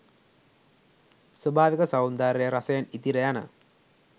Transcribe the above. ස්වාභාවික සෞන්දර්ය රසයෙන් ඉතිර යන